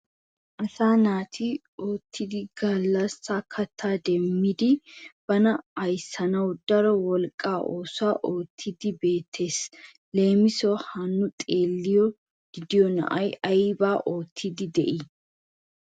Asaa naati oottidi gallassa kattaa demmidi bana ayssanaw daro wolqqaa oosuwa oottidi beettees. Lemisuwassi ha nu xeelidi de'iyo nay aybba oottido de"ii?